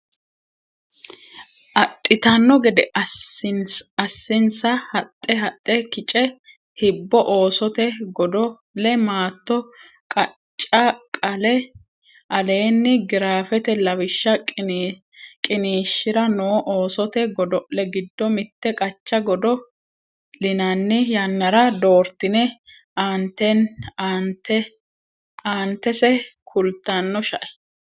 adhitanno gede assinsa haxe haxe kice hibbo Oosote godo le maatto qoccaa qale aleenni giraafete Lawishsha qiniishshira noo oosote godo le giddo mitte Qoccaa godo linanni yannara doortine aantese kultanno shae.